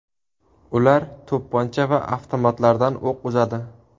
Ular to‘pponcha va avtomatlardan o‘q uzadi.